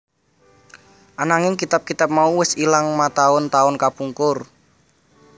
Ananging kitab kitab mau wis ilang mataun taun kapungkur